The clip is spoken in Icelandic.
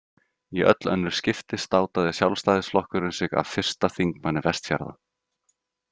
Í öll önnur skipti státaði Sjálfstæðisflokkurinn sig af fyrsta þingmanni Vestfjarða.